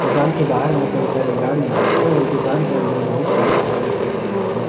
दुकान के बाहर में कई सारे गाड़ियां एवं दुकान के अंदर बहुत सारी भीड़ दिखाई दे रहे हैं।